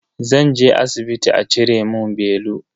Zan je asibiti a cire mun belu.